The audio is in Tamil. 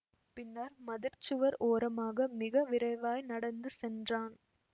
பின்னர் மதிற்சுவர் ஓரமாக மிக விரைவாய் நடந்து சென்றான்